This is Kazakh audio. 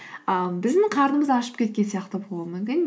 ыыы біздің қарнымыз ашып кеткен сияқты болуы мүмкін